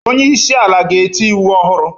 Onye isi ala ga-eti iwu ọhụrụ